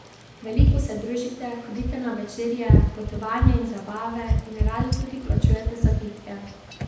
Veliko se družite, hodite na večerje, potovanja in zabave in radi tudi plačujete zapitke.